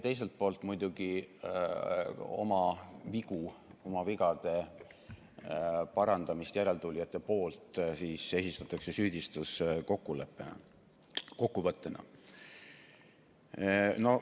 Teiselt poolt aga oma vigade parandamist järeltulijate poolt esitatakse süüdistuskokkuvõttena.